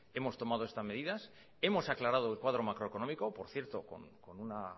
hemos tomado estas medidas hemos aclarado el cuadra macroeconómico por cierto con una